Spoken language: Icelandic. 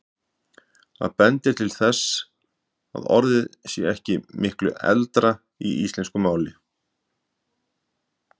Það bendir til þess að orðið sé ekki miklu eldra í íslensku máli.